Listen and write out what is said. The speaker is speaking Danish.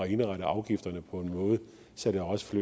indrette afgifterne på en måde så det også